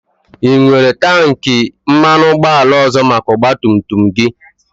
Ị nwere tankị mmanụ ụgbọala ọzọ maka ọgba tum tum gị?